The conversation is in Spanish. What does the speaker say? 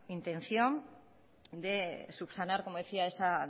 intención de subsanar como decía esa